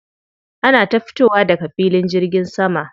Ana ta fitowa daga filin jirgin sama.